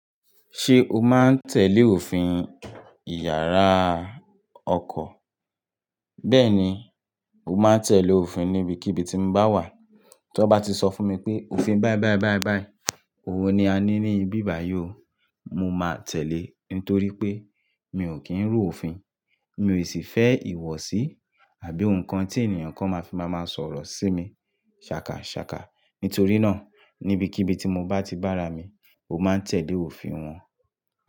Ṣé o máa ń tẹ̀lé òfin ìyàrá ọkọ̀? Bẹ́ẹ̀ni, mo máa ń tẹ̀lé òfin níbikíbi tí mo bá wà. Tí wọ́n bá ti sọ fún mi pé òfin báí báí báí báí, òwo ni a ní ní ibi ìbàyè o, mo máa tẹ̀lé ẹ́ nítorí pé mi ò kí ń rú òfin, mi ò sì fẹ́ ìwọsí àbí nǹkan tí ènìyàn kan máa fi máa máa sọ̀rọ̀ sí mi ṣàkàṣàkà. Nítorí náà, nibikíbi tí mo bá ti bára mi, mo máa ń tẹ̀lé òfin wọn.